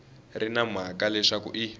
ri na mhaka leswaku i